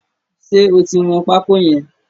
Ṣé o ti wọn pákó yẹn?